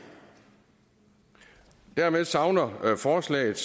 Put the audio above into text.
dermed savner forslaget